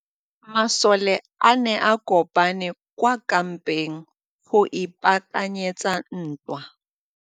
Masole a ne a kopane kwa kampeng go ipaakanyetsa ntwa.